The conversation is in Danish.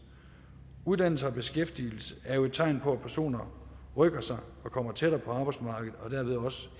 uddannelse og beskæftigelse er jo tegn på at personer rykker sig og kommer tættere på arbejdsmarkedet og dermed